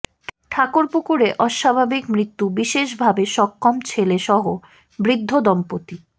ঠাকুরপুকুরে অস্বাভাবিক মৃত্যু বিশেষভাবে সক্ষম ছেলে সহ বৃদ্ধ দম্পতি